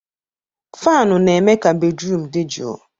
Fanụ na-eme ka bédrụum dị jụụ.